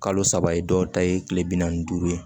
Kalo saba ye dɔw ta ye kile bi naani ni duuru ye